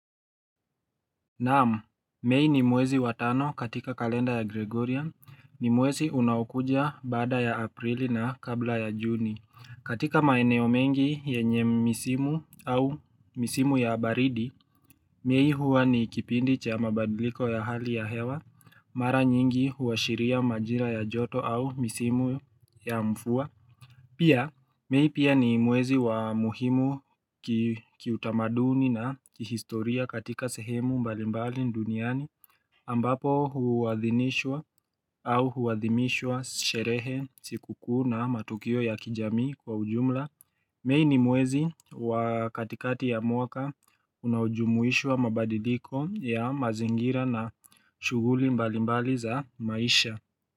Naam, mei ni mwezi wa tano katika kalenda ya Gregorian, ni mwezi unaokuja baada ya aprili na kabla ya juni, katika maeneo mengi yenye misimu au misimu ya baridi, mei huwa ni kipindi cha mabadiliko ya hali ya hewa, mara nyingi huashiria majira ya joto au misimu ya mfua. Pia, mei pia ni mwezi wa muhimu kiutamaduni na kihistoria katika sehemu mbali mbali duniani ambapo huadhinishwa au huadhimishwa sherehe sikukuu na matukio ya kijamii kwa ujumla Mei ni mwezi wa katikati ya mwaka unaojumuishwa mabadiliko ya mazingira na shughuli mbali mbali za maisha.